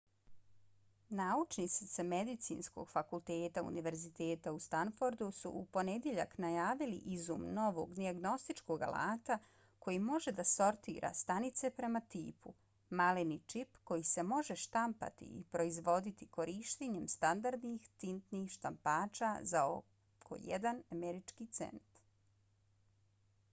naučnici sa medicinskog fakulteta univerziteta u stanfordu su u ponedjeljak najavili izum novog dijagnostičkog alata koji može da sortira stanice prema tipu: maleni čip koji se može štampati i proizvoditi korištenjem standardnih tintnih štampača za oko jedan američki cent